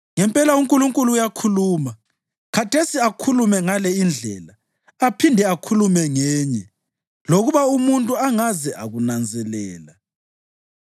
Ngempela uNkulunkulu uyakhuluma, khathesi akhulume ngale indlela, aphinde akhulume ngenye lokuba umuntu angaze akunanzelela.